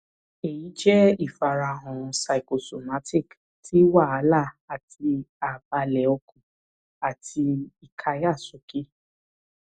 eyi jẹ ifarahan psychosomatic ti wahala ati ààbalẹ ọkàn àti ìkáyàsókè